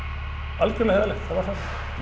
algjörlega heiðarlegt það var þannig